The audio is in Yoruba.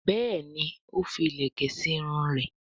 Béèni o fí ilẹkẹ sí Irun rẹ.